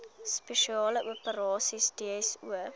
spesiale operasies dso